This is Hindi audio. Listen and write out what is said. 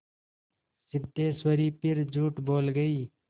सिद्धेश्वरी फिर झूठ बोल गई